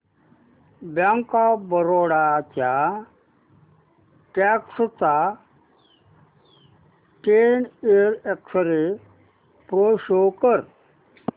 bank of Baroda च्या stock चा ten year x ray pro show कर